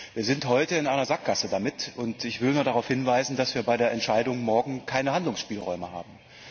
Wir sind heute in einer Sackgasse damit und ich will nur darauf hinweisen, dass wir bei der Entscheidung morgen keine Handlungsspielräume haben.